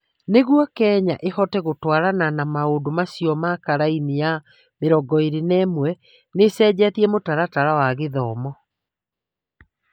Nĩguo Kenya ĩhote gũtwarana na maũndũ macio ma karine ya 21, nĩ ĩcenjetie mũtaratara wa gĩthomo.